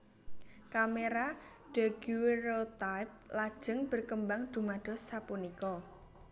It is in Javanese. Kamera daguerreotype lajeng berkembang dumados sapunika